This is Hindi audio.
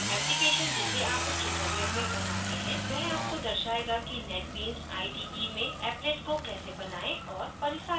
application जिसे आप इस tutorial में बनाते हैं वह आपको दर्शाएगा कि netbeans ide में एप्लेट को कैसे बनाएँ औऱ परिसारित करें